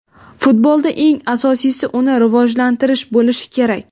Futbolda eng asosiysi uni rivojlantirish bo‘lishi kerak.